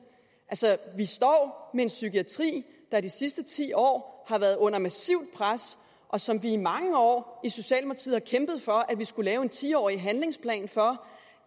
vi står med en psykiatri der de sidste ti år har været under massivt pres og som vi i mange år i socialdemokratiet har kæmpet for at vi skulle have en ti årig handlingsplan for